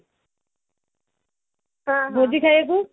ଭୋଜି ଖାଇବାକୁ